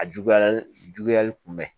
A juguyali juguyali kun bɛ